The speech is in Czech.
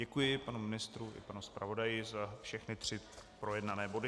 Děkuji panu ministru i panu zpravodaji za všechny tři projednané body.